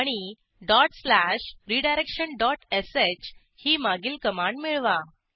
आणि dot slash redirection dot sh ही मागील कमांड मिळवा